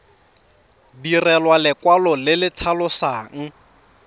direlwa lekwalo le le tlhalosang